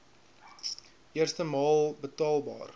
eerste maal betaalbaar